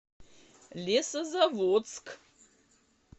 лесозаводск